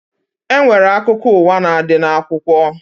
E nwere akụkọ ụwa na-adị n'akwụkwọ